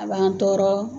A b'an tɔɔrɔ